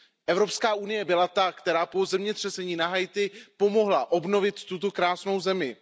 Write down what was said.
Evropská unie byla ta, která po zemětřesení na Haiti pomohla obnovit tuto krásnou zemi.